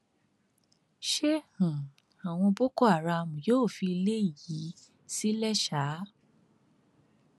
ṣé um àwọn boko haram yóò fi ilé yìí sílẹ ṣáá